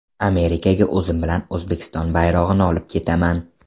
Amerikaga o‘zim bilan O‘zbekiston bayrog‘ini olib ketaman.